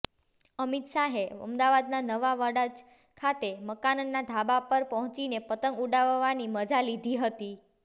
અમિત શાહે અમદાવાદના નવા વાડજ ખાતે મકાનનાં ધાબા પર પહોંચીને પતંગ ઉડાડવાની મજા લીધી હતી